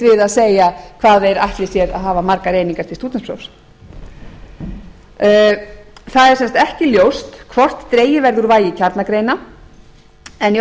við að segja hvað þeir ætli sér að hafa margar einingar til stúdentsprófs það er sem sagt ekki ljóst hvort dregið verður úr vægi kjarnagreina en í